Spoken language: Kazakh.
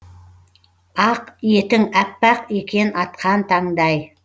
ақ етің аппақ екен атқан таңдай